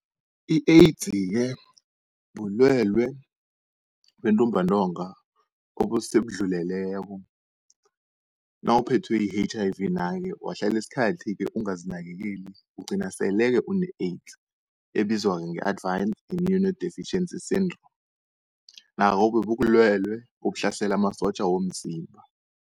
I-AIDS-ke bulwelwe bentumbantonga obusebudluleleko, nawuphethwe yi-H_I_V nayo wahlala isikhathi-ke ungazinakekeli ugcina sele-ke une-AIDS, ebizwa-ke nge-Advance Immunodeficiency Syndrome nabo-ke kubulwelwe obuhlasela amasotja womzimba.